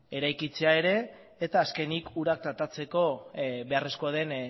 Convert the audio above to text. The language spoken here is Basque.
eraikitzea ere eta azkenik ura tratatzeko beharrezkoa den